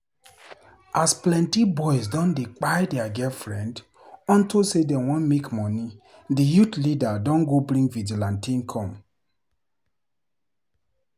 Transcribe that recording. As plenty boys don dey kpai dia girlfriend unto sey dem wan make money, di youth leader don go bring vigilante come.